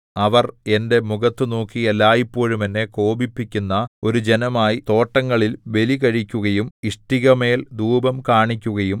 അവർ എന്റെ മുഖത്തു നോക്കി എല്ലായ്പോഴും എന്നെ കോപിപ്പിക്കുന്ന ഒരു ജനമായി തോട്ടങ്ങളിൽ ബലി കഴിക്കുകയും ഇഷ്ടികമേൽ ധൂപം കാണിക്കുകയും